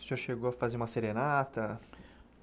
O senhor chegou a fazer uma serenata?